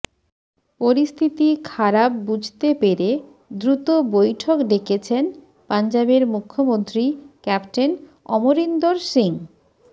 পরিস্থিতি খারাপ বুঝতে পেরে দ্রুত বৈঠক ডেকেছেন পাঞ্জাবের মুখ্যমন্ত্রী ক্যাপ্টেন অমরিন্দর সিং